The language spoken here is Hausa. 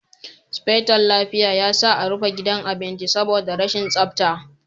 Sufeton lafiya ya sa a rufe gidan abincin saboda rashin tsafta.